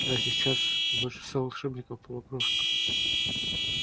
да сейчас большинство волшебников полукровки